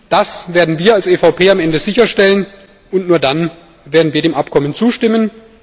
Das werden wir als EVP am Ende sicherstellen, und nur dann werden wir dem Abkommen zustimmen.